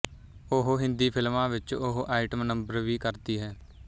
ਉਹ ਹਿੰਦੀ ਫਿਲਮਾਂ ਵਿੱਚ ਉਹ ਆਈਟਮ ਨੰਬਰ ਵੀ ਕਰਦੀ ਹੈ